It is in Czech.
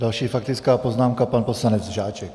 Další faktická poznámka - pan poslanec Žáček.